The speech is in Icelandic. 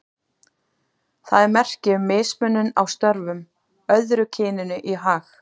Það er merki um mismunun á störfum, öðru kyninu í hag.